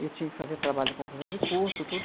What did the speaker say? Eu tinha que fazer trabalho de conclusão de curso, tudo.